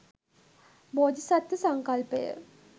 බෝධිසත්ත්ව සංකල්පය